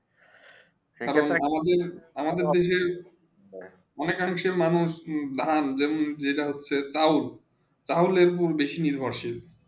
আমাদের আমাদের দেশে অনেক রকমে মানুষে হেঁ যেটা হচ্ছেই তাও তাহলে বেশি নির্ভর সিল